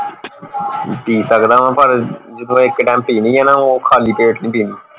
ਪੀ ਸਕਦਾ ਵਾ ਪਰ ਜੋ ਇੱਕ ਟੈਮ ਪੀਣੀ ਆ ਨਾ ਉਹ ਖਾਲੀ ਪੇਟ ਨਹੀਂ ਪੀਣੀ